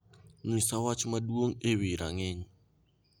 nyisa wach maduong' ewi rang'iny